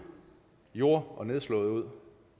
jord og nedslåede